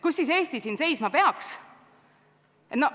Kus aga Eesti siin seisma peaks?